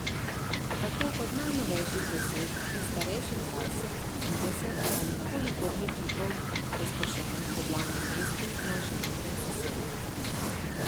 Tako kot najnovejših deset in starejših dvajset, trideset ali kolikor že kipov, razpršenih po glavnem mestu naše južne sosede.